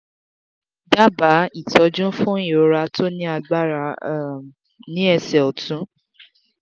daba itoju fun irora to ni agbara um ni ese otun